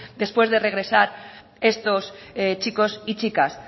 después de regresar estos chicos y chicas